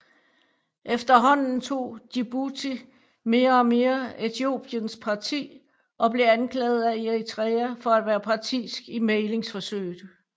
Efterhånden tog Djibouti mere og mere Etiopiæns parti og blev anklaget af Eritrea for at være partisk i mæglingsforsøget